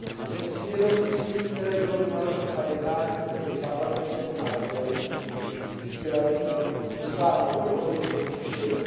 Jsem si vědom úsilí, které bylo vynaloženo na jednáních mezi Parlamentem a Radou s cílem dosáhnout dohody v prvním čtení.